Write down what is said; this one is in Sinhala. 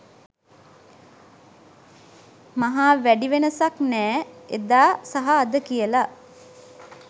මහා වැඩි වෙනසක් නෑ එදා‌ සහ අද කියල